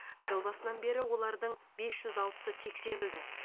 жыл басынан олардың бес жүз алтысы тексерілді